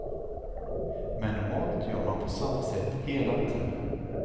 Men normalt gör man på samma sätt hela tiden.